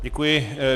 Děkuji.